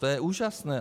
To je úžasné.